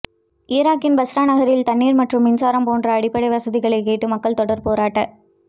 ஈராக்கின் பஸ்ரா நகரில் தண்ணீர் மற்றும் மின்சாரம் போன்ற அடிப்படை வசதிகளைக் கேட்டு மக்கள் தொடர் போராட்